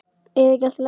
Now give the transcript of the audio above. Er ekki allt í lagi?